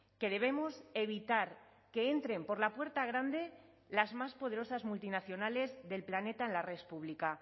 que debemos evitar que entren por la puerta grande las más poderosas multinacionales del planeta en la red pública